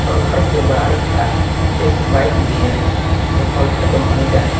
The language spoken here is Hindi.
और घर के बाहर खड़ा एक बाइक भी है जो पल्सर कंपनी का है।